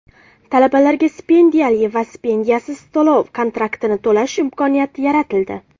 Talabalarga stipendiyali va stipendiyasiz to‘lov-kontraktni to‘lash imkoniyati yaratildi .